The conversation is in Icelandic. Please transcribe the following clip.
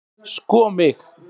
sko mig!